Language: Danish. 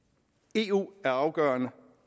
eu er afgørende